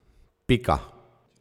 Pika.